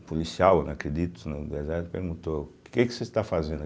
O policial, né, acredito, perguntou, o que vocês estão fazendo a?